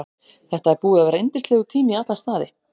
Þetta er búið að vera yndislegur tími í alla staði.